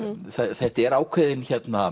þetta er ákveðinn